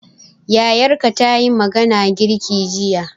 Yayarka tayi mana girki jiya